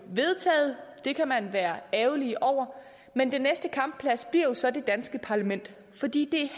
vedtaget det kan man være ærgerlig over men den næste kampplads bliver jo så det danske parlament fordi det